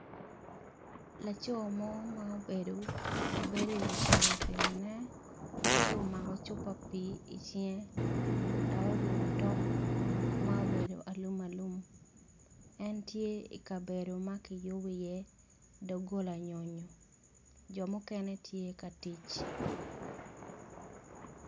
Laco mo ma obedo mabedo i wi pikipiki ne ci omako cupa pi i cinge dok oruko tok ma obedo alum alum en tye i kabedo ma kibedo i ye dogola nyonyo jo mukene gitye katic.